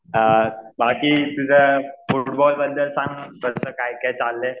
हां बाकी तुझं फुटबॉल बद्दल सांग कसं काय काय चाललंय.